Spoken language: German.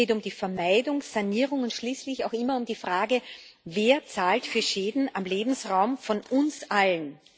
Es geht um die Vermeidung, Sanierung und schließlich auch immer um die Frage Wer zahlt für Schäden am Lebensraum von uns allen?